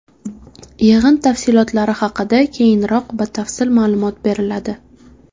Yig‘in tafsilotlari haqida keyinroq batafsil ma’lumot beriladi.